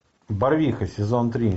барвиха сезон три